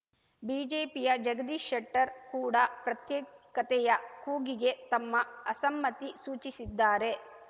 ಬಿಜೆಪಿಯ ಜಗದೀಶ್‌ ಶೆಟ್ಟರ್‌ ಕೂಡ ಪ್ರತ್ಯೇಕತೆಯ ಕೂಗಿಗೆ ತಮ್ಮ ಅಸಮ್ಮತಿ ಸೂಚಿಸಿದ್ದಾರೆ